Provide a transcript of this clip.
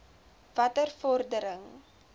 watter vordering